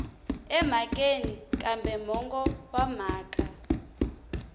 emhakeni kambe mongo wa mhaka